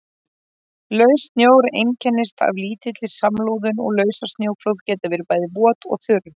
Laus snjór einkennist af lítilli samloðun og lausasnjóflóð geta verið bæði vot og þurr.